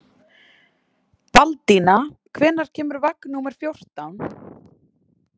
Baldína, hvenær kemur vagn númer fjórtán?